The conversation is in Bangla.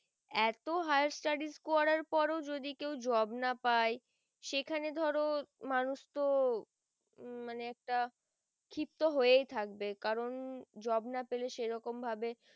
এতো higher studies করার পর যদি কেউ job না পায়ে সেখানে ধরো মানুষ তো উম মানে একটা ক্ষিপ্তত হয় থাকবে কারণ job না পেলে এরকম ভাবে